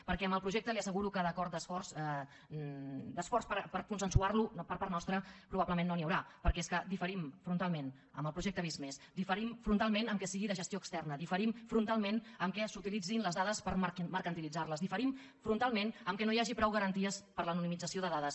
perquè amb el projecte li asseguro que d’acord d’esforç per consensuarlo per part nostra probablement no n’hi haurà perquè és que diferim frontalment del projecte visc+ diferim frontalment que sigui de gestió externa diferim frontalment que s’utilitzin les dades per mercantilitzarles diferim frontalment que no hi hagi prou garanties per a l’anonimització de dades